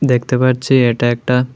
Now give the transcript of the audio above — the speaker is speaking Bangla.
দেখতে পারছি এটা একটা--